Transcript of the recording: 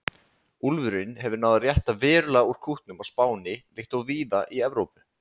Úlfurinn hefur náð að rétta verulega úr kútnum á Spáni, líkt og víða í Evrópu.